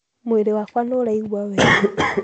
Mwĩrĩ wakwa nĩũraigua wega.